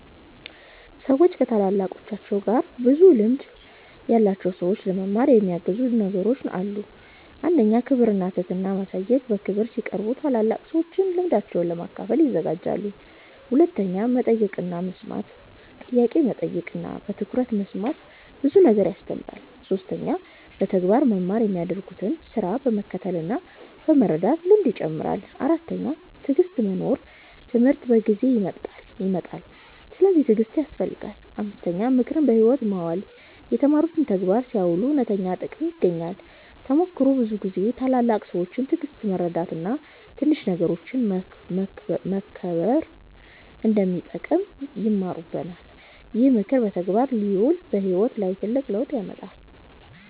ሰዎች ከታላላቃቸው እና ከብዙ ልምድ ያላቸው ሰዎች ለመማር የሚያግዙ ነገሮች አሉ። 1. ክብር እና ትህትና ማሳየት በክብር ሲቀርቡ ታላላቅ ሰዎች ልምዳቸውን ለመካፈል ይዘጋጃሉ። 2. መጠየቅ እና መስማት ጥያቄ መጠየቅ እና በትኩረት መስማት ብዙ ነገር ያስተምራል። 3. በተግባር መማር የሚያደርጉትን ስራ በመከተል እና በመርዳት ልምድ ይጨምራል። 4. ትዕግሥት መኖር ትምህርት በጊዜ ይመጣል፤ ስለዚህ ትዕግሥት ያስፈልጋል። 5. ምክርን በሕይወት ማዋል የተማሩትን በተግባር ሲያውሉ እውነተኛ ጥቅም ይገኛል። ተሞክሮ ብዙ ጊዜ ታላላቅ ሰዎች ትዕግሥት፣ መርዳት እና ትንሽ ነገሮችን መከብር እንደሚጠቅም ይማሩናል። ይህ ምክር በተግባር ሲውል በሕይወት ላይ ትልቅ ለውጥ ያመጣል።